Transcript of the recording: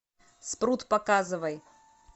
спрут показывай